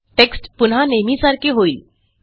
text पुन्हा नेहमीसारखे होईल